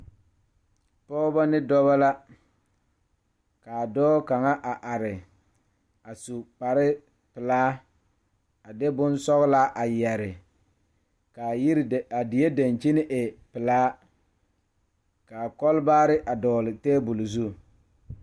Pɔgeba ne dɔɔba la kaa dɔɔ kaŋa a are a su kpare pelaa kaa Yiri a die dankyini are kaa kolbaare a dɔgle tabol zu.